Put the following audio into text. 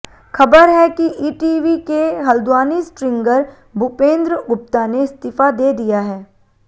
खबर है कि ईटीवी के हल्द्वानी स्ट्रिंगर भूपेंद्र गुप्ता ने इस्तीफा दे दिया है